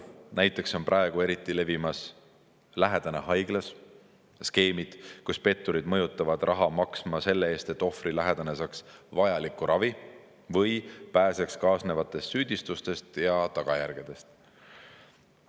Näiteks on praegu eriti levimas skeem "lähedane haiglas" ja skeemid, kus petturid mõjutavad raha maksma selle eest, et ohvri lähedane saaks vajaliku ravi või pääseks kaasnevatest süüdistustest ja tagajärgedest.